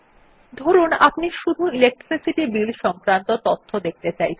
ধরুন আপনি শুধু ইলেকট্রিসিটি বিল সংক্রান্ত তথ্য দেখতে চাইছেন